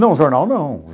Não, o jornal não.